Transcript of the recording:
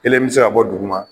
Kelen bɛ ka bɔ duguma